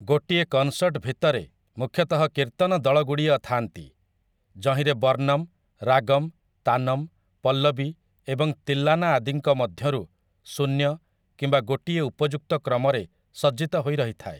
ଗୋଟିଏ କନ୍ସର୍ଟ ଭିତରେ ମୁଖ୍ୟତଃ କୀର୍ତ୍ତନଦଳଗୁଡ଼ିଏ ଥାନ୍ତି, ଯହିଁରେ ବର୍ଣ୍ଣମ୍‌, ରାଗମ୍‌, ତାନମ୍‌, ପଲ୍ଲବୀ ଏବଂ ତିଲ୍ଲାନା ଆଦିଙ୍କ ମଧ୍ୟରୁ ଶୂନ୍ୟ କିମ୍ବା ଗୋଟିଏ ଉପଯୁକ୍ତ କ୍ରମରେ ସଜ୍ଜିତ ହୋଇ ରହିଥାଏ ।